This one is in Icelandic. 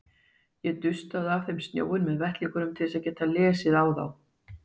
Ég dustaði af þeim snjóinn með vettlingnum til að geta lesið á þá.